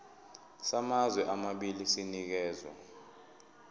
samazwe amabili sinikezwa